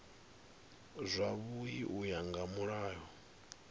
zwavhui u ya nga mulayo